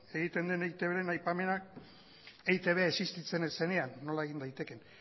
egiten den eitbren aipamena eitb existitzen ez zenean nola egin daitekeen